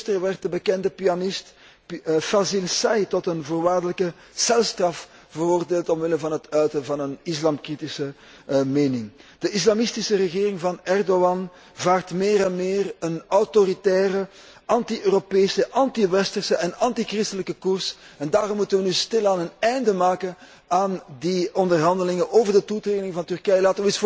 Eergisteren werd de bekende pianist Fazil Say tot een voorwaardelijke celstraf veroordeeld omwille van het uiten van een islamkritische mening. De islamistische regering van Erdoğan vaart meer en meer een autoritaire, anti Europese, antiwesterse en antichristelijke koers en daarom moeten wij nu stilaan een einde maken aan die onderhandelingen over de toetreding van Turkije.